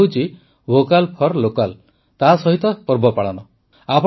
ଏହି ଉପାୟ ହେଉଛି ଭୋକାଲ୍ ଫର୍ ଲୋକାଲ୍ ସହିତ ପର୍ବ ପାଳନର